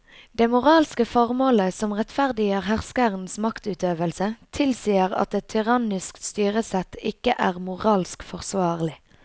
Det moralske formålet som rettferdiggjør herskerens maktutøvelse tilsier at et tyrannisk styresett ikke er moralsk forsvarlig.